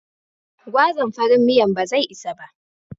Gwazan farin miyan ba zai isa ba.